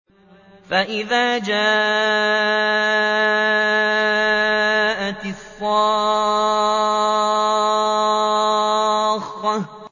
فَإِذَا جَاءَتِ الصَّاخَّةُ